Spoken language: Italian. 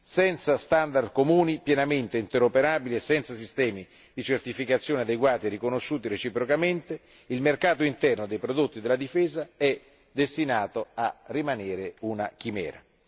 Senza standard comuni, pienamente interoperabili, e senza sistemi di certificazione adeguati e riconosciuti reciprocamente, il mercato interno dei prodotti della difesa è destinato a rimanere una chimera.